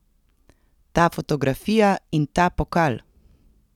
Ta fotografija in ta pokal!